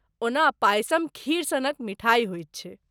ओना पायसम खीर सनक मिठाइ होइत छै।